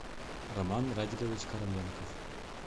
роман радикович короленков